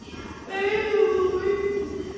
Einum of mikið.